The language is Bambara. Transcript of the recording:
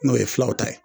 N'o ye filaw ta ye